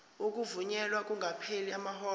ukuvunyelwa kungakapheli amahora